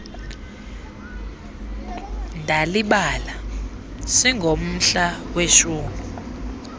ndalibala singomhla weshumi